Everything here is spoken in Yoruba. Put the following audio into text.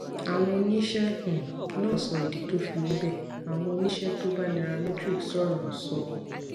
àwọn oníṣẹ um náà sọ ìdí tó fi rí bẹẹ àwọn oníṣẹ tó bá nairametrics sòrò sọ